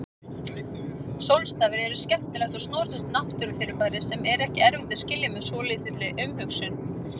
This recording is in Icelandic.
Sólstafir eru skemmtilegt og snoturt náttúrufyrirbæri sem er ekki erfitt að skilja með svolítilli umhugsun.